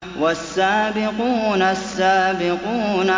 وَالسَّابِقُونَ السَّابِقُونَ